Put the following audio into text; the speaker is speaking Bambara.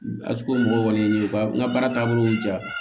mɔgɔw kɔni ye bakan ka baara taabolo diya